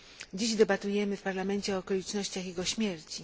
Dziś debatujemy w Parlamencie o okolicznościach jego śmierci.